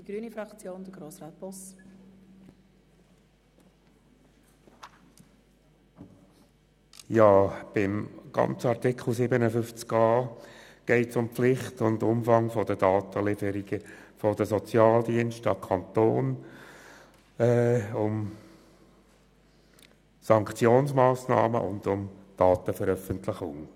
Beim ganzen Artikel 57a geht es um Pflicht und Umfang der Datenlieferung der Sozialdienste an den Kanton, um Sanktionsmassnahmen und um Datenveröffentlichung.